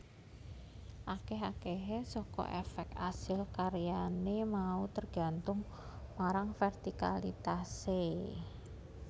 Akeh akehe saka efek asil karyane mau tergantung marang vertikalitase